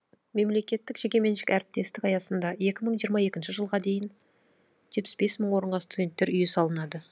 мемлекеттік жекеменшік әріптестік аясында екі мың жиырма екінші жылға дейін жетпіс бес мың орынға студенттер үйі салынады